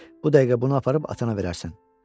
Bu dəqiqə bunu aparıb atana verərsən.